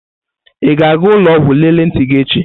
Ị ga-aga ụlọ ọgwụ lelee ntị gị echi?